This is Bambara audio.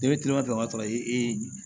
Ne bɛ kilema fɛ ka sɔrɔ ee